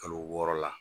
Kalo wɔɔrɔ la